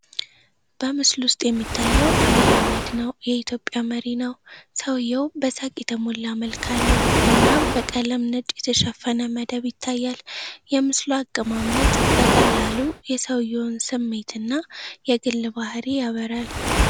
በምስሉ ውስጥ የሚታየው አብይ አህመድ ነው። የ ኢትዮጵ መሪ ነው። ሰውዬው በሳቅ የተሞላ መልክ አለው እና በቀለም ነጭ የተሸፈነ መደብ ይታያል። የምስሉ አቀማመጥ በቀላሉ የሰውዬውን ስሜት እና የግል ባህሪ ያበራል።